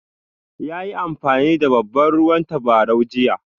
Ya yi amfani da babban ruwan tabarau jiya?